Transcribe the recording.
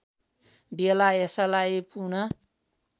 बेला यसलाई पुन